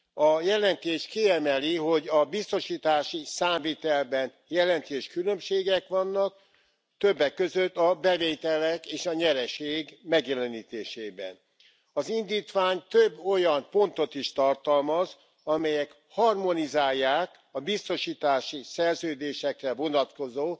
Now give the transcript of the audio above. A jelentés kiemeli, hogy a biztosítási számvitelben jelentős különbségek vannak, többek között a bevételek és a nyereség megjelenítésében. Az indítvány több olyan pontot is tartalmaz, amelyek harmonizálják a biztosítási szerződésekre vonatkozó